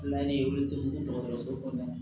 Tilalen olu seginna dɔgɔtɔrɔso kɔnɔna na